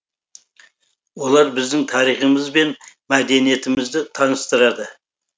олар біздің тарихымыз бен мәдениетімізді таныстырады